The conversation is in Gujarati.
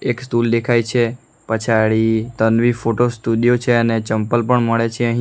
એક સ્ટુલ દેખાય છે પછાડી તન્વી ફોટો સ્ટુડિયો છે અને ચંપલ પણ મળે છે અહીં.